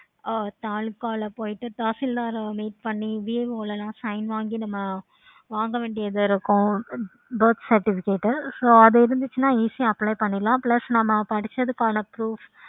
ஆஹ் தாலுகால போயிட்டு தாசில்தார் meet பண்ணி VAO ல எல்லாம் sign வாங்கி வாங்க வேண்டி இருக்கும். birth certificate so அது இருந்துச்சுன்னா easy யா apply பண்ணிடலாம். plus நம்ம படிச்சதுக்கான proof